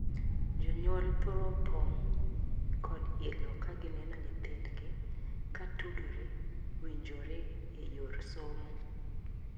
Jonyuol thoro pong' kod ilo ka gineno nyithindgi ka tudore (winjore) e yor somo.